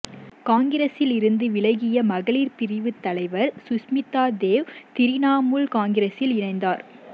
காங்கிரசில் இருந்து விலகிய மகளிர் பிரிவு தலைவர் சுஷ்மிதா தேவ் திரிணாமுல் காங்கிரஸில் இணைந்தார்